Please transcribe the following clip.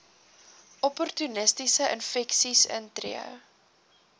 opportunistiese infeksies intree